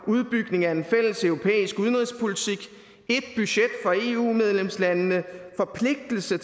udbygning af en fælles europæisk udenrigspolitik ét budget for eu medlemslandene forpligtelse